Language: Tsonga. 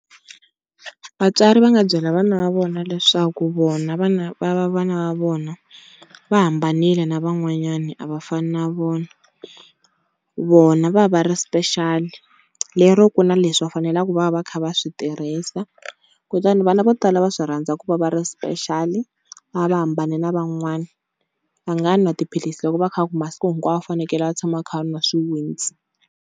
Vatswari va nga byela vana va vona leswaku vona, vana va vona va hambanile na van'wanyana a va fani na vona. Vona va va va ri special lero ku na leswi va faneleke va va kha va swi tirhisa. Kutani vana vo tala va swi rhandza ku va va ri special, va va va hambane na van'wani, a nga nwa tiphilisi loko va kha va ku masiku hinkwawo a fanekele a tshama a kha a nwa swiwitsi.